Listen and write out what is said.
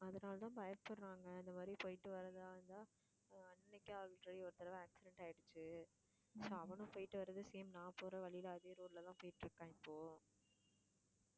அதனாலதான் பயப்படறாங்க இந்த மாதிரி போயிட்டு வர்றதாயிருந்தா ஆஹ் ஒரு தடவை accident ஆயிடுச்சி so அவனும் போய்ட்டுவரது same நான் போற வழில அதே road ல தான் போயிட்டிருக்கான் இப்போ